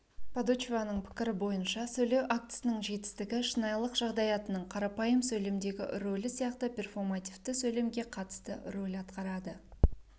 падучеваның пікірі бойынша сөйлеу актісінің жетістігі шынайылық жағдаятының қарапайым сөйлемдегі рөлі сияқты перфомативті сөйлемге қатысты рөл атқарады